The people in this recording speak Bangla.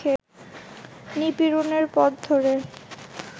নিপীড়নের পথ ধরে